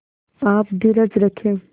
आप धीरज रखें